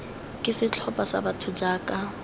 ke setlhopha sa batho jaaka